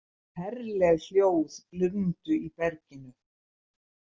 Ferleg hljóð glumdu í berginu.